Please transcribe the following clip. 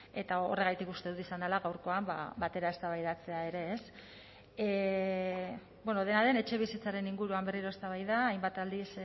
eta horregatik uste dut izan dela gaurkoan batera eztabaidatzea ere ez bueno dena den etxebizitzaren inguruan berriro eztabaida hainbat aldiz